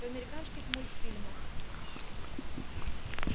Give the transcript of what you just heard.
в американских мульфильмах